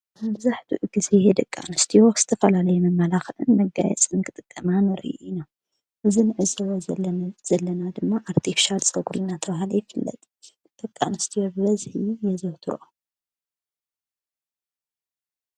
ኣብዛሕድ ጊዜ የ ደቃ ንስቲወኽስተ ፈላለየመመላኽንን መጋየ ጽንቂ ጥ ጠማንርኢኢነ እዝ ንዕዘበ ዘለ ዘለና ድማ ኣርጢፍሻል ጸጕሪናተውሃለይፍለጥ ተቃ ንስቲ የብለዘይ የዘውትሮ።